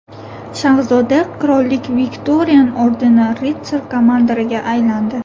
Shahzoda Qirollik Viktorian ordeni ritsar-komandoriga aylandi.